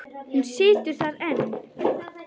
Hún situr þar enn.